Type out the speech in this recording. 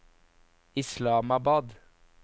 Islamabad